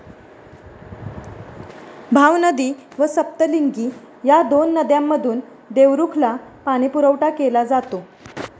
भावनदी व सप्तलिंगी या दोन नद्यांमधून देवरुखला पाणीपुरवठा केला जातो.